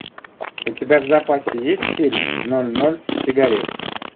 у тебя в запасе есть фильм ноль ноль сигарет